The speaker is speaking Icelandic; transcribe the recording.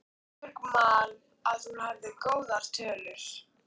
Væri ég tilbúinn til að skrifa undir nýjan samning?